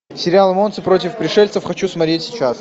сериал монстры против пришельцев хочу смотреть сейчас